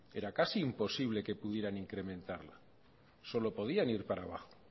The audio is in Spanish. era casi imposible que pudieran incrementarla solo podían ir para abajo